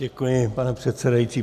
Děkuji, pane předsedající.